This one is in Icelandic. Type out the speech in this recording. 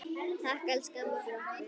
Takk, elsku amma, fyrir okkur.